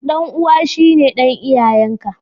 Dan'uwa shine dan iyayen ka.